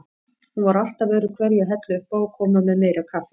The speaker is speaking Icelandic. Hún var alltaf öðruhverju að hella uppá og koma með meira kaffi.